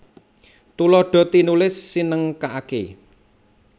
Tuladha tinulis sinengkakaké